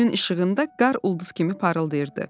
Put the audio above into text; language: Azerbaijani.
Günün işığında qar ulduz kimi parıldayırdı.